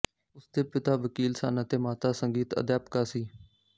ਉਸਦੇ ਪਿਤਾ ਵਕੀਲ ਸਨ ਅਤੇ ਮਾਤਾ ਸੰਗੀਤ ਅਧਿਆਪਕਾ ਸੀ